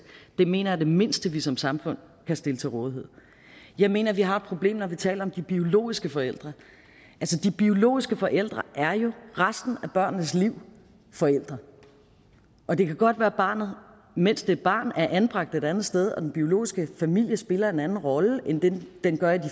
det mener jeg er det mindste vi som samfund kan stille til rådighed jeg mener vi har et problem når vi taler om de biologiske forældre de biologiske forældre er jo resten af børnenes liv forældre og det kan godt være at barnet mens det er barn er anbragt et andet sted og at den biologiske familie spiller en anden rolle end den den gør i